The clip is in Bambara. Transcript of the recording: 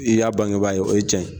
I y'a bangebaa ye, o ye tiɲɛ ye.